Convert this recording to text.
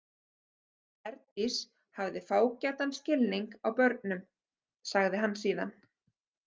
Herdís hafði fágætan skilning á börnum, sagði hann síðan.